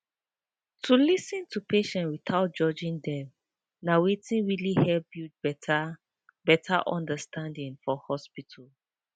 to lis ten to patients without judging dem na wetin really help build better better understanding for hospital